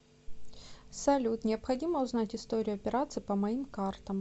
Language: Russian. салют необходимо узнать историю операций по моим картам